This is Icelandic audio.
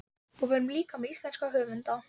Og við erum líka með íslenska höfunda.